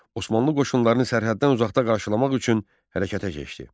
Osmanlı qoşunlarını sərhəddən uzaqda qarşılamaq üçün hərəkətə keçdi.